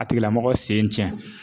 A tigila mɔgɔ sen cɛn